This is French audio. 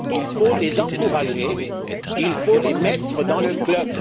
Il faut les encourager, il faut les intégrer dans le club.